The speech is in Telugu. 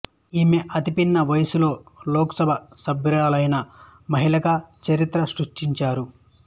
ఈమె అతిపిన్న వయసులో లోక్సభ సభ్యురాలయిన మహిళగా చరిత్ర సృష్టించారు